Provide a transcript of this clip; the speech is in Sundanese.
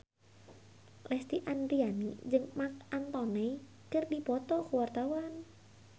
Lesti Andryani jeung Marc Anthony keur dipoto ku wartawan